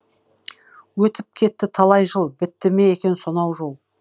өтіп кетті талай жыл бітті ме екен сонау жол